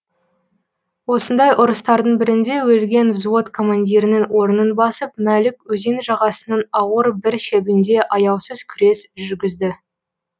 осындай ұрыстардың бірінде өлген взвод командирінің орнын басып мәлік өзен жағасының ауыр бір шебінде аяусыз күрес жүргізді